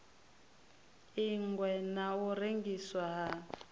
ingwa na u rengiswa ha